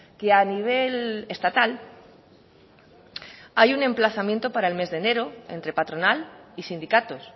que a nivel estatal hay un emplazamiento para el mes de enero entre patronal y sindicatos